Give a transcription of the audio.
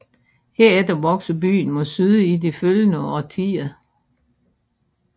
Herefter voksede byen mod syd i de følgende årtier